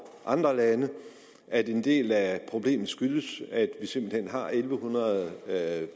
andre lande og at en del af problemet skyldes at vi simpelt hen har en tusind en hundrede